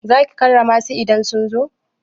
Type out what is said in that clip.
Za ki karrama su idan sun zo?